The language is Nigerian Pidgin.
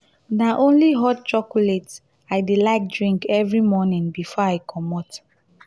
na only hot chocolate i dey um like drink every morning before i comot.